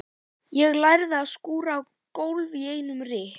Ég lærði að skúra gólf í einum rykk.